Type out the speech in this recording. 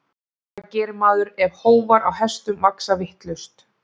Hvað gerir maður ef hófar á hestum vaxa vitlaust?